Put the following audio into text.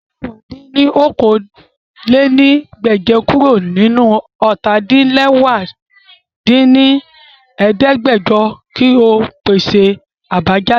Yọ mẹ̀wá dín ní okòó-lé-ní-ẹgbẹ́je kuro ninu ọ́ta-din-lẹwá dín ní ẹ̀ẹ́dẹ́gbẹ́jọ ki o pese abajade!